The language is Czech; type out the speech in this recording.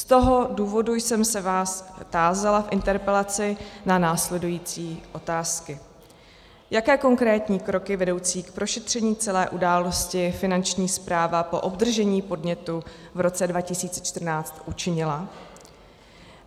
Z toho důvodu jsem se vás tázala v interpelaci na následující otázky: Jaké konkrétní kroky vedoucí k prošetření celé události Finanční správa po obdržení podnětu v roce 2014 učinila?